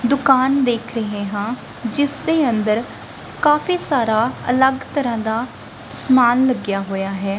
ਦੁਕਾਨ ਦੇਖ ਰਹੇ ਹਾਂ ਜਿਸਦੇ ਅੰਦਰ ਕਾਫੀ ਸਾਰਾ ਅਲੱਗ ਤਰ੍ਹਾਂ ਦਾ ਸਮਾਨ ਲੱਗਿਆ ਹੋਇਆ ਹੈ।